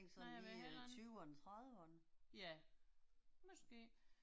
Nej jeg ved det heller ikke. Ja. Måske